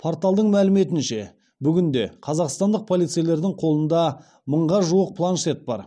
порталдың мәліметінше бүгінде қазақстандық полицейлердің қолында мыңға жуық планшет бар